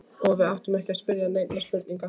Og við áttum ekki að spyrja neinna spurninga.